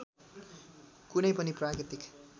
कुनै पनि प्राकृतिक